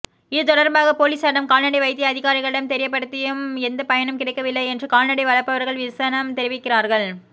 இது தொடர்பாக பொலிஸாரிடம் கால்நடை வைத்திய அதிகாரிகளிடம் தெரியப்படுத்தியம் எந்த பயனும் கிடைக்கவில்லை என்று கால்நடை வளர்ப்பவர்கள் விசனம் தெரிவிக்கிறார்கள்